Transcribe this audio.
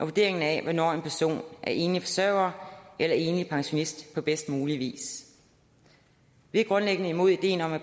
vurdering af hvornår en person er enlig forsørger eller enlig pensionist på bedst mulig vis vi er grundlæggende imod ideen om at